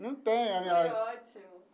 Não tenho. Foi ótimo.